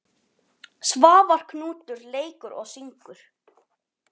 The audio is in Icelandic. Svavar Knútur leikur og syngur.